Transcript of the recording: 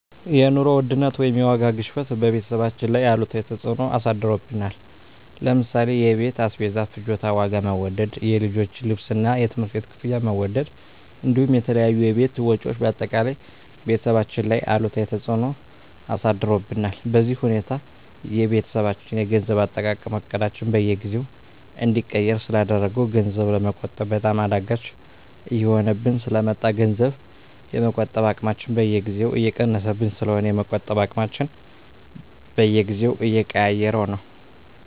የኑሮ ውድነት ወይም የዋጋ ግሽበት በቤተሰባችን ላይ አሉታዊ ተፅዕኖ አሳድሮብናል ለምሳሌ የቤት አስቤዛ ፍጆታ ዋጋ መወደድ፣ የልጆች ልብስና የትምህርት ቤት ክፍያ መወደድ እንዲሁም የተለያዩ የቤት ወጪዎች በአጠቃላይ ቤተሰባችን ላይ አሉታዊ ተፅዕኖ አሳድሮብናል። በዚህ ሁኔታ የቤተሰባችን የገንዘብ አጠቃቀም እቅዳችንን በየጊዜው እንዲቀየር ስላደረገው ገንዘብ ለመቆጠብ በጣም አዳጋች እየሆነብን ስለ መጣ ገንዘብ የመቆጠብ አቅማችን በየጊዜው እየቀነሰብን ስለሆነ የመቆጠብ አቅማችንን በየጊዜው እየቀያየረው ነው።